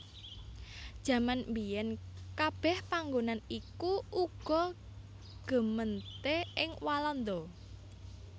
Jaman mbiyèn kabèh panggonan iku uga gemeente ing Walanda